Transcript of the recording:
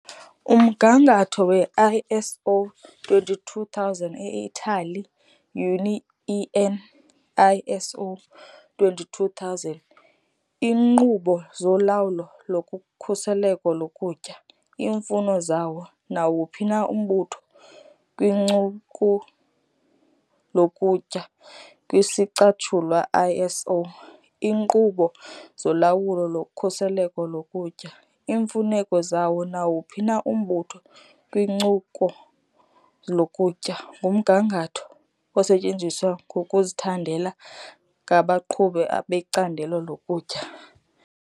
Umgangatho we-ISO 22000 eItali UNI EN ISO 22000 "Iinkqubo zoLawulo lokhuseleko lokutya- Iimfuno zawo nawuphi na umbutho kwincuku lokutya", kwisicatshulwa ISO "Iinkqubo zolawulo lokhuseleko lokutya - Iimfuneko zawo nawuphi na umbutho kwincuku lokutya", ngumgangatho osetyenziswayo. ngokuzithandela ngabaqhubi becandelo lokutya.